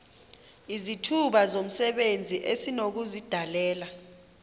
izithuba zomsebenzi esinokuzidalela